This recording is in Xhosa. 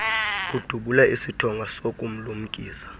udubule isithonga sokumlumkisa